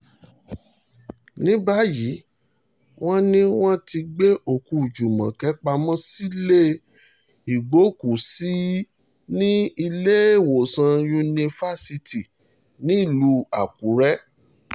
ní báyìí wọ́n ní wọ́n ti gbé òkú júmọ́kè pamọ́ sílẹ̀ ìgbókùú-sí ní ní ilééwòsàn yunifaisti nílùú àkùrẹ́